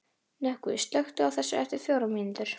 Nökkvi, slökktu á þessu eftir fjórar mínútur.